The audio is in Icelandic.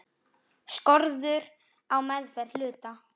Skorður á meðferð hluta.